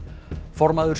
formaður